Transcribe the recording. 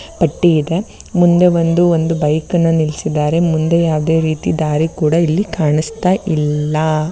ಪಟ್ಟಿ ಇದೆ ಮುಂದೆ ಒಂದು ಒಂದು ಬೈಕ್‌ನ್ನು ನಿಲ್ಲಿಸಿದ್ದಾರೆ. ಮುಂದೆ ಯಾವುದೇ ರೀತಿ ದಾರಿ ಕೂಡ ಇಲ್ಲಿ ಕಾಣಿಸ್ತಾ ಇಲ್ಲ.